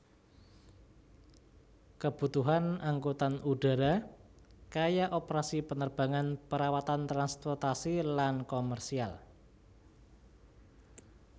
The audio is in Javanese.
Kebutuhan angkutan udara kaya operasi penerbangan perawatan transportasi lan komersial